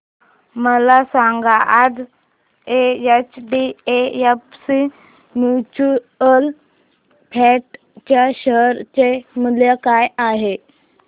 मला सांगा आज एचडीएफसी म्यूचुअल फंड च्या शेअर चे मूल्य काय आहे